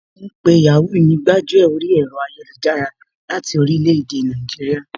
Wọ́n ma ń pe Yàhoo ní gbájú ẹ̀ orí ẹ̀rọ ayélujára láti orílẹ̀ èdè Nàìjíríà